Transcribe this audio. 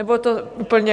Nebo to úplně...